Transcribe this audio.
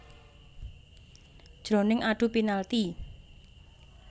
Jroning adu penalti